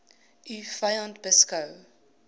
u vyand beskou